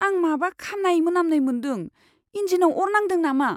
आं माबा खामनाय मोनामनाय मोन्दों। इन्जिनआव अर नांदों नामा?